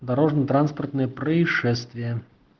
дорожно-транспортные происшествия